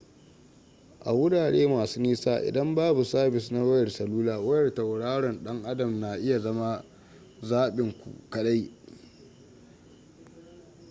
a wurare masu nisa idan babu sabis na wayar salula wayar tauraron dan adam na iya zama zaɓin ku kaɗai